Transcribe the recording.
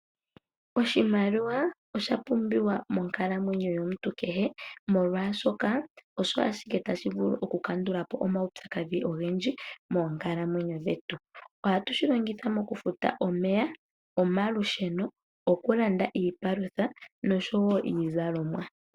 Oshimaliwa osha pumbiwa monkalamwenyo yomuntu kehe, molwaashoka osho ashike tashi vulu oku kandula po omaupyakadhi ogendji moonkalamwenyo dhetu. Ohatu shi longitha moku futa omeya, omalusheno, oku landa iipalutha noshowo iizalomwa.